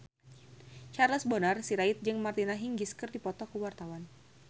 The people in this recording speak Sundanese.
Charles Bonar Sirait jeung Martina Hingis keur dipoto ku wartawan